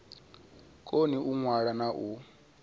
koni u ṅwala na u